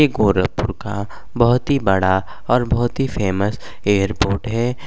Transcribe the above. ऐ गोरखपुर का बहुत ही बड़ा और बहुत ही फेमस एयरपोर्ट है।